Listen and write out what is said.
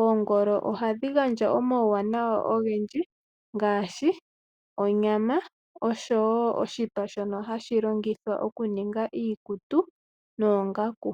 Oongolo oha dhi gandja omauwanawa ogendji, ngaashi onyama noshipa shoka hashi longithwa oku ninga iikutu noongaku.